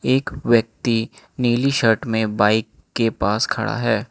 एक व्यक्ति नीली शर्ट मे बाइक के पास खड़ा है।